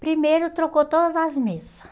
Primeiro, trocou todas as mesas.